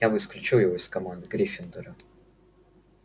я бы исключил его из команды гриффиндора